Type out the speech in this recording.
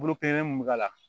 Bolo kelen mun mi k'a la